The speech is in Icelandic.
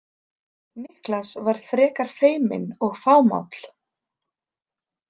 Niklas var frekar feiminn og fámáll.